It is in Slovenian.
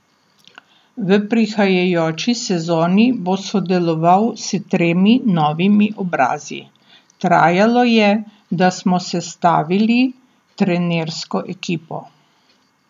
V prihajajoči sezoni bo sodeloval s tremi novimi obrazi: "Trajalo je, da smo sestavili trenersko ekipo.